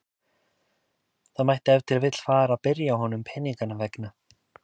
Það mætti ef til vill fara að byrja á honum peninganna vegna.